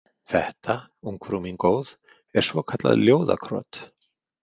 Þetta, ungfrú mín góð, er svokallað ljóðakrot